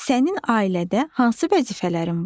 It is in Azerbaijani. Sənin ailədə hansı vəzifələrin var?